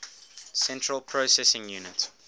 central processing unit